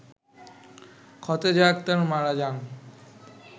খতেজা আক্তার মারা যান